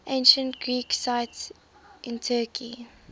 ancient greek sites in turkey